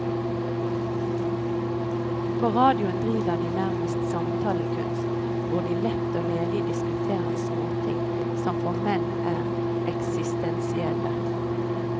På radioen driver de nærmest samtalekunst, hvor de lett og ledig diskuterer småting som for menn er eksistensielle.